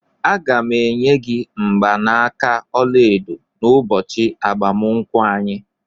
Aga m-enye gị mgbanaka ọla edo n'ụbọchị agbamakwụkwọ anyị.